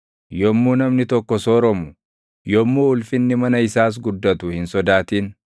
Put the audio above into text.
Yommuu namni tokko sooromu, yommuu ulfinni mana isaas guddatu hin sodaatin.